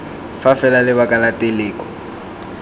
fa fela lebaka la teleko